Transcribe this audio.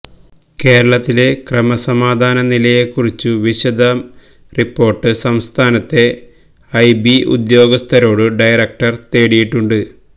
കേരളത്തിലെ ക്രമസമാധാന നിലയെക്കുറിച്ചു വിശദ റിപ്പോർട്ട് സംസ്ഥാനത്തെ ഐബി ഉദ്യോഗസ്ഥരോട് ഡയറക്ടർ തേടിയിട്ടുണ്ട്